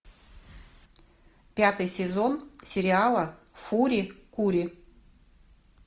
пятый сезон сериала фури кури